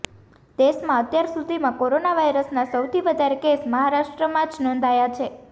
દેશમાં અત્યાર સુધીમાં કોરોના વાયરસના સૌથી વધારે કેસ મહારાષ્ટ્રમાં જ નોંધાયા છે